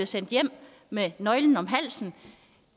sendt hjem med nøglen om halsen